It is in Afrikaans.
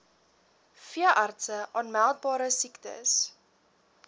veeartse aanmeldbare siektes